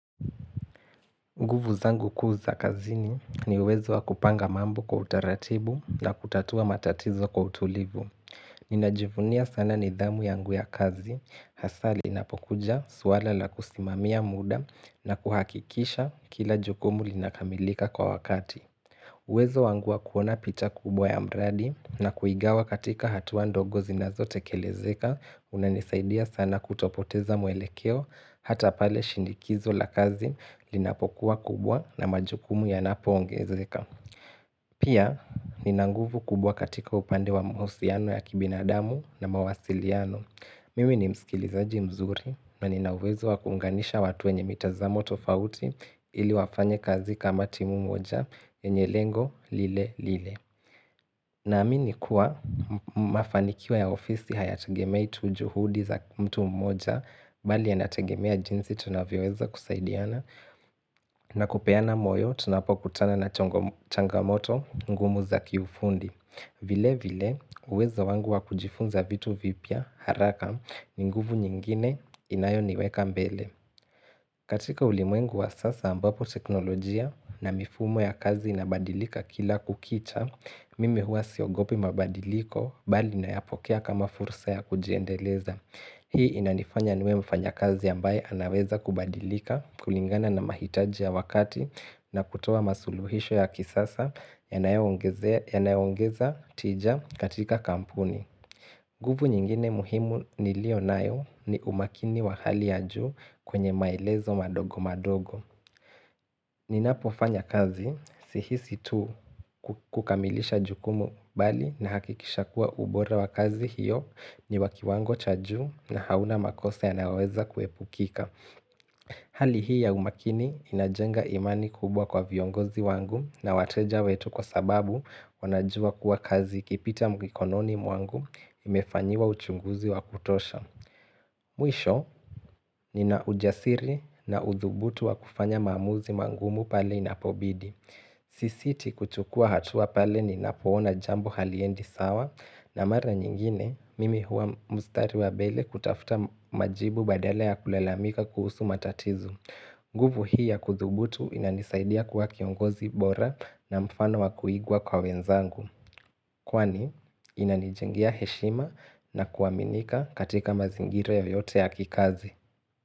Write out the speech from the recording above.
Nguvu zangu kuu za kazini ni uwezo wa kupanga mambo kwa utaratibu na kutatua matatizo kwa utulivu. Ninajivunia sana nidhamu yangu ya kazi, hasa linapokuja suala la kusimamia muda na kuhakikisha kila jukumu linakamilika kwa wakati. Wezo wangua kuona picha kubwa ya mradi na kuigawa katika hatua ndogo zinazotekelezeka unanisaidia sana kutopoteza mwelekeo hata pale shindikizo la kazi linapokuwa kubwa na majukumu yanapoongezeka. Pia, nina nguvu kubwa katika upande wa mahusiano ya kibinadamu na mawasiliano. Mimi ni msikilizaji mzuri na ninauwezo wa kuunganisha watu wenye mitazamo tofauti ili wafanye kazi kama timu moja yenye lengo lilelile. Naamini kuwa mafanikiwa ya ofisi hayategemei tu juhudi za mtu mmoja bali ya nategemea jinsi tunavyoweza kusaidiana na kupeana moyo tunapokutana na changamoto ngumu za kiufundi. Vile vile uwezo wangu wa kujifunza vitu vipya haraka ni nguvu nyingine inayo niweka mbele. Katika ulimwengu wa sasa ambapo teknolojia na mifumo ya kazi inabadilika kila kukicha, mimi huwa siogopi mabadiliko bali ninayapokea kama fursa ya kujiendeleza. Hii inanifanya niwe mfanyakazi ambaye anaweza kubadilika kulingana na mahitaji ya wakati na kutoa masuluhisho ya kisasa yanayoongeza tija katika kampuni. Nguvu nyingine muhimu niliyo nayo ni umakini wa hali ya juu kwenye maelezo madogo madogo. Ninapofanya kazi sihisi tu kukamilisha jukumu bali na hakikisha kuwa ubora wa kazi hiyo ni wa kiwango cha juu na hauna makosa yanayoweza kuepukika. Hali hii ya umakini inajenga imani kubwa kwa viongozi wangu na wateja wetu kwa sababu wanajua kuwa kazi ikipita mkikononi mwangu imefanyiwa uchunguzi wa kutosha. Mwisho nina ujasiri na udhubutu wa kufanya maamuzi mangumu pale inapobidi. Sisiti kuchukua hatua pale ninapoona jambo haliendi sawa na mara nyingine mimi huwa mstari wa mbele kutafuta majibu badala ya kulalamika kuhusu matatizo. Nguvu hii ya kudhubutu inanisaidia kuwa kiongozi bora na mfano wa kuigwa kwa wenzangu. Kwani inanijengia heshima na kuwaminika katika mazingira yoyote ya kikazi.